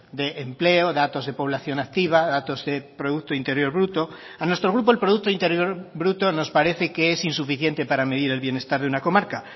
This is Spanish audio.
de empleo datos de población activa datos de producto interior bruto a nuestro grupo el producto interior bruto nos parece que es insuficiente para medir el bienestar de una comarca